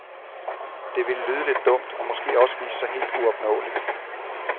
Det ville lyde lidt dumt og måske også vise sig helt uopnåeligt.